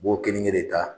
U b'o kelen kelen de ta